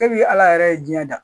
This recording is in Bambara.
E bi ala yɛrɛ ye jiyɛn da